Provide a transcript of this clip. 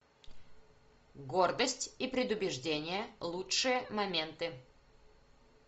гордость и предубеждение лучшие моменты